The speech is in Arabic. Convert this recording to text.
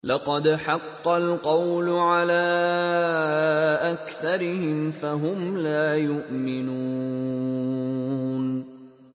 لَقَدْ حَقَّ الْقَوْلُ عَلَىٰ أَكْثَرِهِمْ فَهُمْ لَا يُؤْمِنُونَ